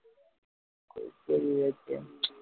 சரி okay